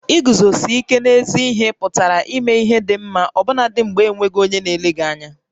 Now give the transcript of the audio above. Iguzosi íké n'ézí ihé pụtara ímé ihé dị ḿmá ọbụnadị mgbè e nweghị onyé na-ele gị ányá